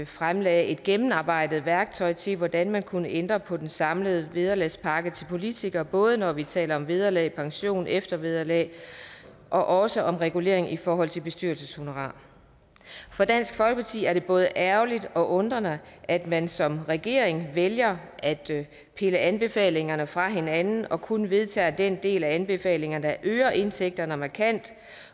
fremlagde et gennemarbejdet værktøj til hvordan man kunne ændre på den samlede vederlagspakke til politikere både når vi taler om vederlag pension eftervederlag og også om regulering i forhold til bestyrelseshonorar for dansk folkeparti er det både ærgerligt og undrende at man som regering vælger at pille anbefalingerne fra hinanden og kun vedtager den del af anbefalingerne der øger indtægterne markant